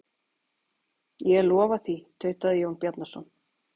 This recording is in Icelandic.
Ég lofa því, tautaði Jón Bjarnason.